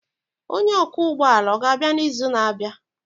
Onye ọkwọ ụgbọ ala ọ ga-abịa n'izu na-abịa?